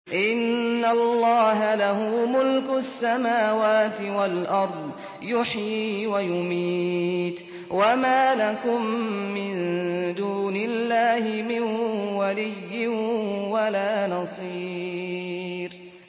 إِنَّ اللَّهَ لَهُ مُلْكُ السَّمَاوَاتِ وَالْأَرْضِ ۖ يُحْيِي وَيُمِيتُ ۚ وَمَا لَكُم مِّن دُونِ اللَّهِ مِن وَلِيٍّ وَلَا نَصِيرٍ